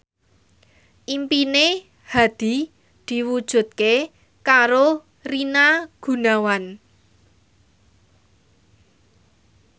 impine Hadi diwujudke karo Rina Gunawan